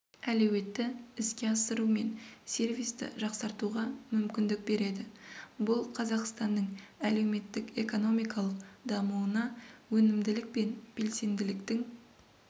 әлеуетті іске асыру мен сервисті жақсартуға мүмкіндік береді бұл қазақстанның әлеуметтік-экономикалық дамуына өнімділік пен белсенділіктің